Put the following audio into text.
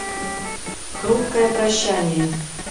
хрупкое прощание